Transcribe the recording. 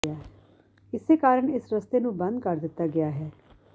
ਇਸੇ ਕਾਰਨ ਇਸ ਰਸਤੇ ਨੂੰ ਬੰਦ ਕਰ ਦਿੱਤਾ ਗਿਆ ਹੈ